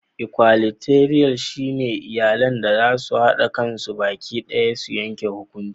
"Equalitarian" shine iyalan da zasu hada kansu baki daya su yanke hukunci.